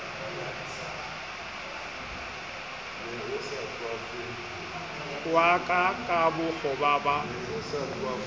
wa ka ka bokgoba ba